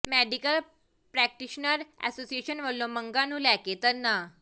medical practitioner association ਵੱਲੋਂ ਮੰਗਾਂ ਨੂੰ ਲੈ ਕੇ ਧਰਨਾ